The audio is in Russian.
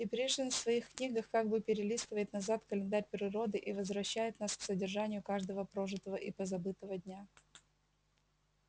и пришвин в своих книгах как бы перелистывает назад календарь природы и возвращает нас к содержанию каждого прожитого и позабытого дня